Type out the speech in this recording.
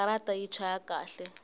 katara yi chaya kahle